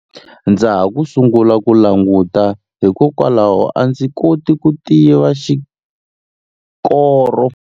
Ndza ha ku sungula ku languta hikokwalaho a ndzi koti ku tiva xikoro.